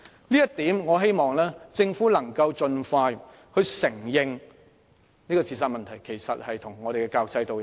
就這一點而言，我希望政府能夠盡快承認自殺問題與教育制度有關。